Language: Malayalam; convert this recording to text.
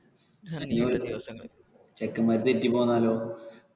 ചെക്കെന്മാര് തെറ്റി പോന്നാലോ?